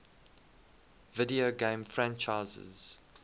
video game franchises